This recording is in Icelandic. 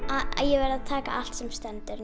ég verð að taka allt sem stendur